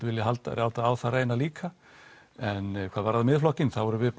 vilja láta á það reyna líka en hvað varðar Miðflokkinn þá erum við